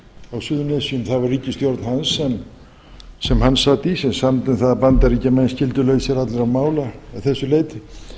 á suðurnesjum það var ríkisstjórn hans sem hann sat í sem samdi um það að bandaríkjamenn skyldu lausir allra mála að þessu leyti